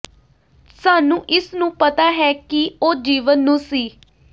ਸਾਨੂੰ ਇਸ ਨੂੰ ਪਤਾ ਹੈ ਕਿ ਉਹ ਜੀਵਨ ਨੂੰ ਸੀ